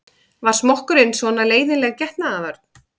Var smokkurinn svona leiðinleg getnaðarvörn?